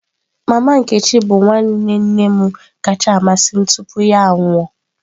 Mama nkechi bụ nwanne nne m kacha amasị m tupu ya anwụọ.